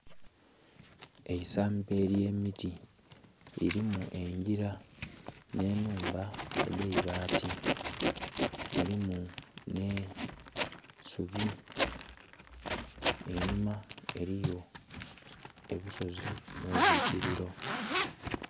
Eisamba ely'emiti lirimu engira n'enhumba edhaibaati, mulimu n'eisubi einhuma eriyo obusozi n'obwikiriro.